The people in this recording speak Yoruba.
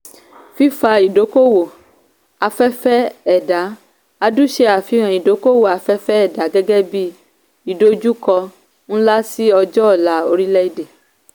fífa ìdókòwó afẹ́fẹ́ ẹ̀dá :adu se àfihàn ìdókòwó afẹ́fẹ́ ẹ̀dá gẹ́gẹ́ bí ìdojúkọ ńlá sí ọjọ́ ọ̀la orílẹ̀ èdè.